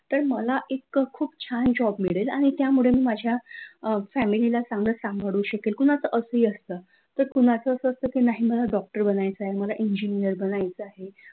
तर मला इतका खूप छान जॉब मिळेल आणि त्यामुळे मी माझ्या फॅमिली ला चांगलं सांभाळू शकेल कुणाचं अस ही असतं तर कुणाचं असं असतं की नाही मला डॉक्टर बनायचे मला इंजिनीयर बनायचं आहे.